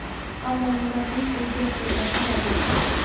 Ammo murabbiy bu gap-so‘zlarni rad etdi .